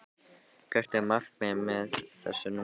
Hvert er markmiðið með þessu núna í dag?